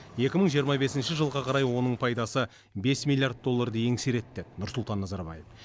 екі мың жиырма бесінші жылға қарай оның пайдасы бес миллиард долларды еңсереді деді нұрсұлтан назарбаев